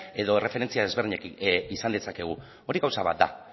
edo erreferentzia desberdinekin izan dezakegu hori gauza bat da